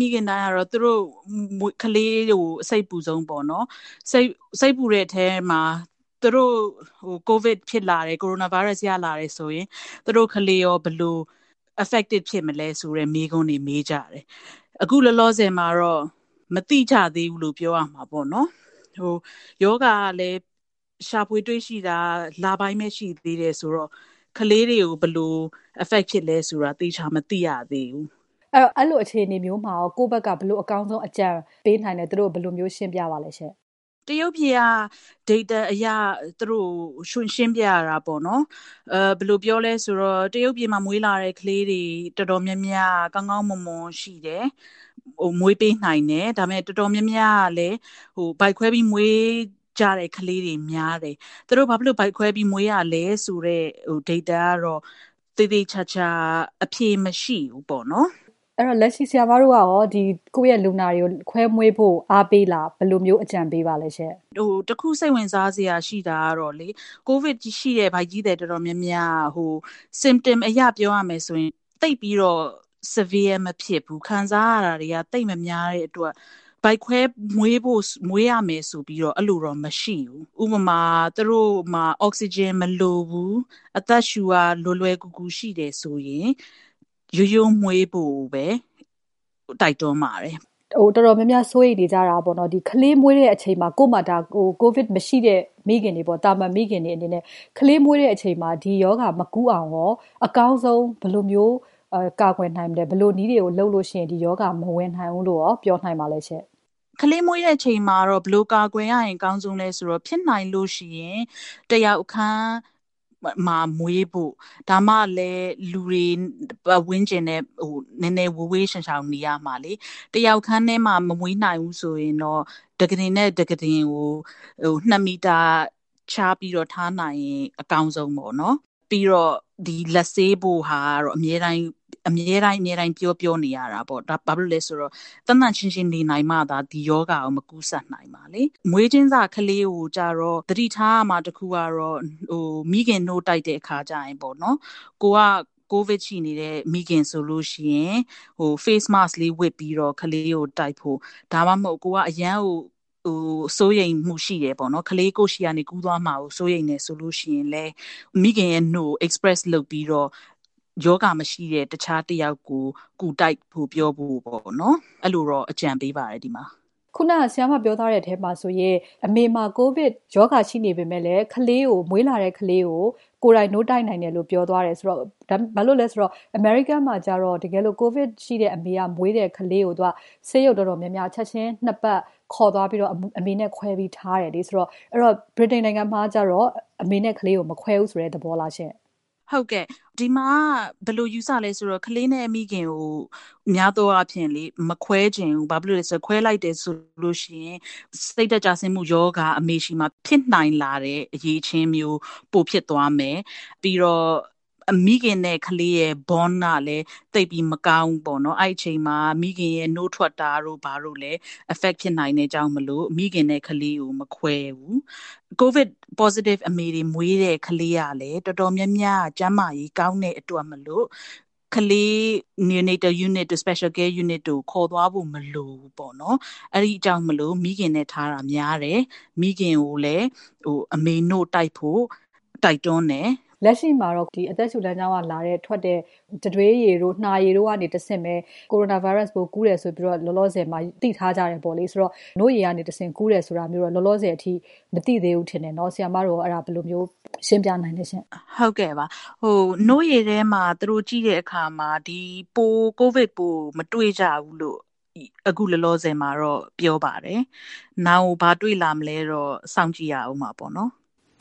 မိခင်တိုင်းက သူတို့ ကလေးတွေကို စိတ်ပူဆုံးပေါ့နော် ။ စိတ်ပူတဲ့အထဲမှာ သူတို့ COVID-19ဖြစ်လာရင် Virus ရလာတယ်ဆိုရင် သူတို့ ကလေးရော ဘယ်လို သက်ရောက်မူတွေရှိမလဲဆိုတာ မေးကြတယ်။ အခုလောလောဆည်မှာတော့ မသိကြဘူးလို့ ပြောရမှာပေါ့နော်။ ရောဂါကလည်း ရှာဖွေတွေ့ရှိတာ ကလေးတွေကို ဘယ်လို Affect ဖြစ်သလဲဆိုတာ သေချာမသိရသေးဘူး။ အဲလိုအခြေအနေမျိုးမှာ ဘယ်လိုအကောင်းဆုံးအကြံပေးနိုင်သလဲ ကိုယ့်ဘက်က ဘယ်လိုမျိုး ရှင်းပြသလဲရှင့်။ တရုတ်ပြည်က Data အရ သူတို့ကို ရှင်းပြရတာပေါ့နော်။ ဘယ်လိုပြောသလဲဆိုတော့ တရုတ်ပြည်မှာ မွေးလာတဲ့ ကလေးတွေ တော်တေ်ာများများက ကောင်းကောင်းမွန်မွန်ရှိတယ် မွေးပေးနိုင်တယ်။ ဒါပေမယ့် တော်တော်များများကလည်း ဗိုက်ခွဲပြီး မွေးကြတဲ့ ကလေးတွေများတယ်။ သူတို့ ဘာဖြစ်လို့ ဗိုက်ခွဲပြီး မွေးရသလဲဆိုတဲ့ Data ကတော့ သေသေချာချာ အဖြေမရှိဘူးပေါ့နော်။ လက်ရှိ ဆရာမတို့ရော ကိုယ့်လူနာတွေကို ခွဲမွေးဖို့ အားပေးလား။ ဘယ်လိုမျိုး အကြံပေးပါသလဲ။ တခု စိတ်ဝင်စားစရာရှိတာကတော့ COVID ရှိတဲ့ ဗိုက်ကြီးသည် တော်တေ်ာများများက symptom အရ ပြောရမယ်ဆိုရင် သိပ်ပြီးတော့ မပြင်းထန်ဘူး။ ခံစားရတာတွေက သိပ်မများတဲ့အတွက် ဗိုက်ခွဲပြီး မွေးရမယ်ဆိုပြီးတော့ အဲလိုမျိုးတော့ မရှိဘူး။ ဥပမာ- သူတို့မှာ အောက်ဆီဂျင်မလိုဘူးအသက်ရှုရ လွယ်ကူတယ်ဆိုရင် ရိုးရိုးမွေးဖို့ကိုပဲ တိုက်တွန်းပါတယ်။ တော်တော်များများ စိုးရိမ်နေကြတာပေါ့နော် ကလေးမွေးတဲ့အချိန်မှာ COVID မရှိတဲ့ သာမန် မိခင်တွေအနေနဲ့ ကလေးမွေးတဲ့အချိန်မှာ ဒီရောဂါမကူးအောင် အကောင်းဆုံး ဘယ်လိုမျိုး ကာကွယ်နိုင်မလဲ။ ဘယ်လိုနည်းတွေ လုပ်ရင် ဒီရောဂါမဝင်နိုင်ဘူးလို့ ပြောနိုင်ပါသလဲရှင့်။ ကလေးမွေးတဲ့အချိန်မှာ ဘယ်လိုမျိုး ကာကွယ်နိုင်ရင် အကောင်းဆုံးလဲဆိုတော့ ဖြစ်နိုင်ရင် တယောက်အခန်းမျာ မွေးဖို့ ဒါမှလည်း လူတွေ ၊ ပတ်ဝန်းကျင်နဲ့ နည်းနည်းဝေးဝေးရှောင်ရှောင်နေရမှာ ။ တယောက်ခန်းထဲမှာ မမွေးနိုင်ဘူးဆိုရင်တော့ ကုတင်တခုနဲ့ တခု ၂ မီတာခြားပြီးတော့ ထားနိုင်ရင် အကောင်းဆုံးပေါ့နော် ။ ပြီးတော့ လက်ဆေးဖို့ ကတော့ အမြဲတမ်း ပြောပြောနေရတာပေါ့။ ဘာဖြစ်လို့လဲဆိုတော့ သန့်သန့်ရှင်းရှင်းနေနိုင်မှ ဒီရောဂါက မကူးစက်နိုင်မှာလေ။ မွေးကင်းစကလေးကိုတော့ သတိထားရမှာ တခုကတော့ မိခင်နို့တိုက်တဲ့ အခါကျရင်ပေါ့နော် ၊ ကိုယ်က COVID ရှိနေတဲ့ မိခင်ဆိုရင် mask လေးဝတ်ပြီးတော့ ကလေးကို တိုက်ဖို့။ ဒါမှမဟုတ်ရင် ကိုယ်က အရမ်း စိုးရိမ်မှုရှိတယ် ၊ ကလေးကိုယ့်ဆီကနေ ကူးသွားမှာကို စိုးရိမ်တယ်ဆိုရင် မိခင်နို့ကို ထုတ်ပြီးတော့ တခြားရောဂါမရှိတဲ့ တယောက်ကို ကူတိုက်ဖို့ ပေါ့နော် အဲလိုတော့ အကြံပေးပါတယ် ဒီမှာ။ ဆရာမပြောသွားတဲ့အထဲမှာဆိုရင် အမေမှာ COVID ရှိနေပေမယ့် မွေးလာတဲ့ ကလေးကို ကိုယ်တိုင် နို့တိုက်နိုင်တယ်။ အမေရိကန်မှာကျတော့ COVID ရှိတဲ့ အမေက မွေးလာတဲ့ ကလေးကို ဆေးရုံတွေက ချက်ချင်း ၂ ပတ် အမေနဲ့ ခွဲပြီးထားတယ်။ ဆိုတော့ ဗြိတိန်မှာတော့ အမေနဲ့ ကလေးကို မခွဲဘူးဆိုတဲ့ သဘောလားရှင့်။ ဟုတ်ကဲ့ ဒီမှာက ဘယ်လိုယူဆသလဲဆိုတော့ ကလေးနဲ့ မိခင်ကို များသောအားဖြင့် မခွဲဘူး ။ ဘာဖြစ်လို့လဲဆိုတော့ ခွဲလိုက်ရင် စိတ်ဓါတ်ကျဆင်းမှုရောဂါက အမေဆီမှာ ဖြစ်နိုင်လာတာမျိုး ပိုဖြစ်သွားမယ် ၊ ပြီးတော့ မိခင်နဲ့ ကလေးရဲ့ bond ကလည်း သိပ်ပြီးမကောင်းဘူးပေါ့နော် အဲဒီအချိန်မှာ မိခင်ရဲ့ နို့ထွက်တာတို့ကလည်း affect ဖြစ်နိုင်တယ်။ အဲဒါကြောင့် မိခင်နဲ့ ကလေးကို မခွဲဘူး။ COVID ရှိတဲ့ အမေတွေ မွေးတဲ့ ကလေးကလည်း တော်တော်များများက ကျန်းမာရေး ကောင်းတဲ့အတွက် ကလေး special care ကို ခေါ်သွားဖို့ မလိုဘူးပေါ့နော်။ အဲဒါကြောင့် မိခင်နဲ့ထားတာများတယ်။ မိခင်ကိုလည်း အမေနို့တိုက်ဖို့ တိုက်တွန်းတယ်။ လက်ရှိမှာ အသက်ရှုလမ်းကြောင်းက ထွက်တဲ့ တံတွေးရည်တို့၊ နှာရည်တို့ကနေ တဆင့် Coronavirus ကူးတယ်လို့ လောလောဆည်သိထားတယ်ပေါ့လေ။ နို့ရည်ကနေ တဆင့် ကူးတယ်ဆိုတာကတော့ လောလောဆည် မသိသေးဘူးထင်တယ်နော် အဲဒါ ဆရာမတို့ရော ဘယ်လိုရှင်းပြနိုင်သလဲရှင့်။ နို့ရည် ထဲမှာ သူတို့ ကြည့်တဲ့အခါမှာ COVID ပိုးမတွေ့ဘူးလို့ အခုလောလောဆည်မှာ ပြောပါတယ်။ နောင်ကို ဘာတွေ့လာမလဲဆိုတာကတော့ စောင့်ကြည့်ရဦးမှာပေါ့နော်။